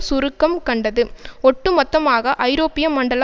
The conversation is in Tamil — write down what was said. சுருக்கம் கண்டது ஒட்டுமொத்தமாக ஐரோப்பியமண்டல